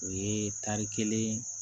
U ye tari kelen